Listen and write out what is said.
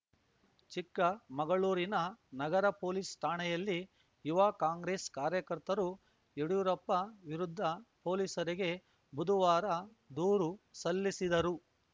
ಚಿಕ್ಕಮಗಳೂರಿನ ನಗರ ಪೊಲೀಸ್‌ ಠಾಣೆಯಲ್ಲಿ ಯುವ ಕಾಂಗ್ರೆಸ್‌ ಕಾರ್ಯಕರ್ತರು ಯಡ್ಯೂರಪ್ಪ ವಿರುದ್ಧ ಪೊಲೀಸರಿಗೆ ಬುಧವಾರ ದೂರು ಸಲ್ಲಿಸಿದರು